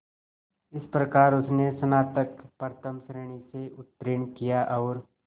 इस प्रकार उसने स्नातक प्रथम श्रेणी से उत्तीर्ण किया और